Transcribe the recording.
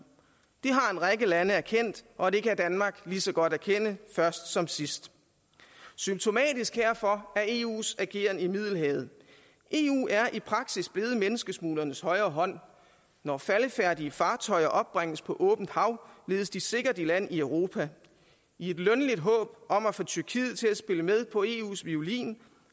række lande erkendt og det kan danmark lige så godt erkende først som sidst symptomatisk herfor er eus ageren i middelhavet eu er i praksis blevet menneskesmuglernes højre hånd når faldefærdige fartøjer opbringes på åbent hav ledes de sikkert i land i europa i et lønligt håb om at få tyrkiet til at spille med på eus violin